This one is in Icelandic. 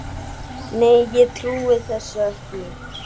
Nei, ég trúi þessu ekki.